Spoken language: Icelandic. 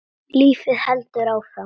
Lífið heldur áfram.